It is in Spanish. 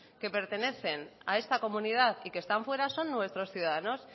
que pertenecen a esta comunidad y que están fuera son nuestros ciudadanos